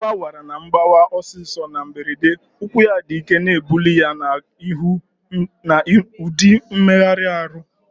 Agu awara na mgbawa ọsọ ọsọ na mberede, ụkwụ ya dị ike na-ebuli ya gaa n'ihu n'ụdị mmegharị ahụ.